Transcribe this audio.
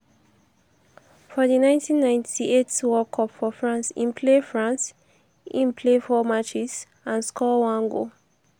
for di 1998 world cup for france im play france im play 4 matches and score one goal.